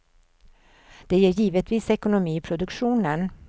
Det ger givetvis ekonomi i produktionen.